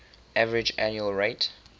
average annual rate